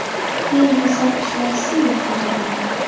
keyin esa ishlar silliq kechadi..